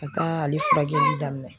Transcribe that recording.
Ka ale furakɛli daminɛ